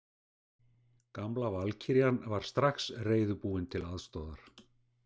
Gamla valkyrjan var strax reiðubúin til aðstoðar.